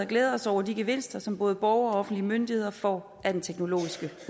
glæder os over de gevinster som både borgere og offentlige myndigheder får af den teknologiske